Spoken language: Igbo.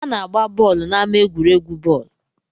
A na-agba bọọlụ n'ama egwuregwu bọọlụ.